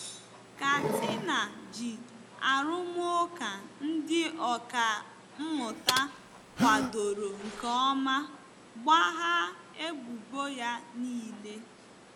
Katina ji arụmụka ndị ọkà mmụta kwadoro nke ọma gbaghaa ebubo ya nile.